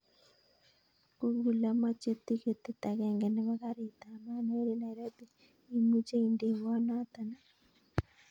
Google amoche tiketit agenge nepo karit ap maat newendi nairobi imuche indewon noton